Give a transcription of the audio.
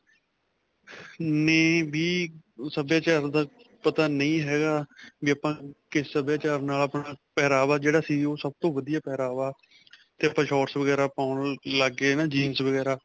ਨੇ ਵੀ ਸਭਿਆਚਾਰ ਦਾ ਪਤਾ ਨਹੀਂ ਹੈ ਗਾ, ਵੀ ਆਪਾਂ ਕਿਸ ਸਭਿਆਚਾਰ ਨਾਲ ਆਪਣਾ ਪਹਿਰਾਵਾ ਜਿਹੜਾ ਸੀ ਓਹ ਸਭ ਤੋਂ ਵਧੀਆ ਪਹਿਰਾਵਾ ਤੇ ਆਪਾਂ shorts ਵਗੈਰਾ ਪਾਉਣ ਲੱਗ ਗਏ ਹੈ ਨਾਂ jeans ਵਗੈਰਾ.